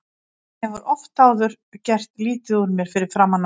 Hann hefur oft áður gert lítið úr mér fyrir framan aðra.